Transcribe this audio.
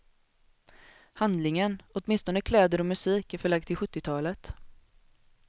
Handlingen, åtminstone kläder och musik, är förlagd till sjuttiotalet.